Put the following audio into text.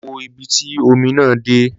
Lọ wo ibi tí omi náà dé